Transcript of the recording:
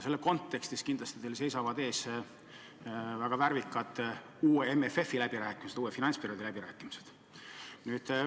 Selles kontekstis teil seisavad ees kindlasti väga värvikad uue MMF-i läbirääkimised, uue finantsperioodi läbirääkimised.